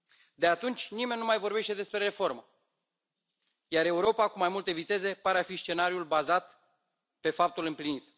De atunci, nimeni nu mai vorbește despre reformă, iar Europa cu mai multe viteze pare a fi scenariul bazat pe faptul împlinit.